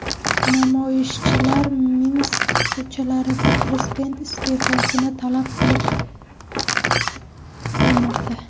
Namoyishchilar Minsk ko‘chalarida prezident iste’fosini talab qilib qilmoqda .